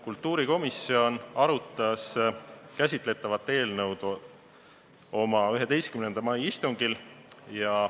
Kultuurikomisjon arutas käsitletavat eelnõu oma 11. mai istungil.